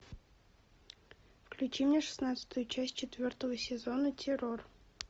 включи мне шестнадцатую часть четвертого сезона террор